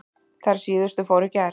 Þær síðustu fóru í gær.